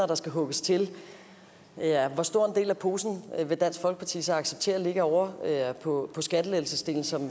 der skal hugges til hvor stor en del af posen vil dansk folkeparti så acceptere ligger ovre på skattelettelsesdelen som